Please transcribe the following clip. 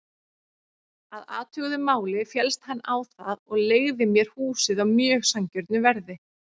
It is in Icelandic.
Að athuguðu máli féllst hann á það og leigði mér húsið á mjög sanngjörnu verði.